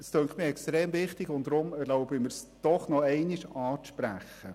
Dieses scheint mir extrem wichtig, und ich erlaube mir deshalb, es noch einmal anzusprechen.